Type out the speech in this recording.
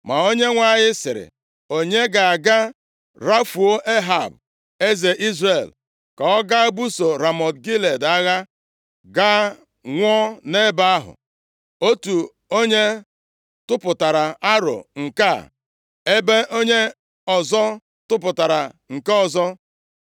Ma Onyenwe anyị sịrị, ‘Onye ga-aga rafuo Ehab, eze Izrel, ka ọ gaa buso Ramọt Gilead agha, gaa nwụọ nʼebe ahụ?’ “Otu onye tụpụtara aro nke a, ebe onye ọzọ tụpụtara nke ọzọ.